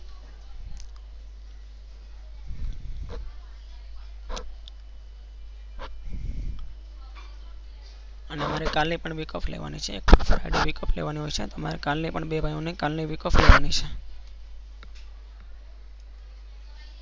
અને મારે કાલે પણ week off લેવાની છે. મારે અમારે કાલે બે ભયીઓ યે કાલે week off લેવ મી છે.